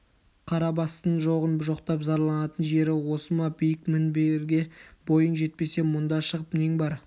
қара бастың жоғын жоқтап зарланатын жері осы ма биік мінберіге бойың жетпесе мұнда шығып нең бар